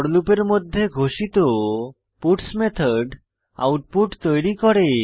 four লুপের মধ্যে ঘোষিত পাটস মেথড আউটপুট তৈরী করে